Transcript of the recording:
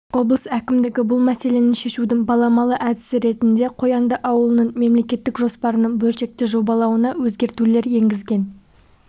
облыс әкімдігі бұл мәселені шешудің баламалы әдісі ретінде қоянды ауылының мемлекеттік жоспарының бөлшекті жобалауына өзгертулер енгізген